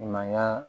Mankan